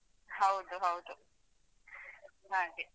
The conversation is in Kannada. ಹೌದು ಹೌದು ಹಾಗೆ.